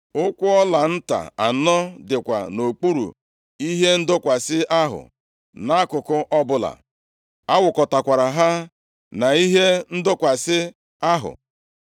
Ụkwụ ọla nta anọ dịkwa nʼokpuru ihe ndọkwasị ahụ, nʼakụkụ ọbụla. A wụkọtakwara ha na ihe ndọkwasị ahụ.